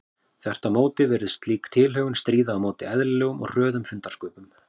Þvert á móti virðist slík tilhögun stríða á móti eðlilegum og hröðum fundarsköpum.